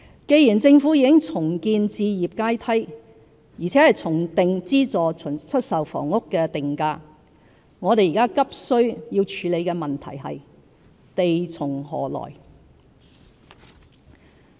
既然政府已重建置業階梯，並重定資助出售房屋定價，我們現在急需處理的問題是"地從何來"。